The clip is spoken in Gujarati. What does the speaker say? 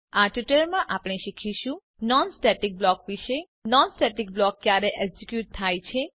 આ ટ્યુટોરીયલ માં આપણે શીખીશું નોન સ્ટેટિક બ્લોક વિષે નોન સ્ટેટિક બ્લોક ક્યારે એક્ઝિક્યુટ થાય છે